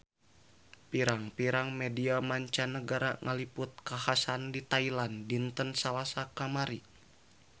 Pirang-pirang media mancanagara ngaliput kakhasan di Thailand dinten Salasa kamari